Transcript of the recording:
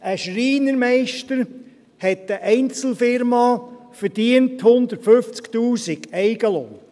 Ein Schreinermeister hat eine Einzelfirma, verdient 150’000 Franken Eigenlohn.